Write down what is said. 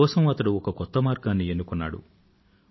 తన కోసం అతడు ఒక కొత్త మార్గాన్ని ఎన్నుకున్నాడు